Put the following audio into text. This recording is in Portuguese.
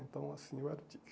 Então, assim, eu era o Tigre.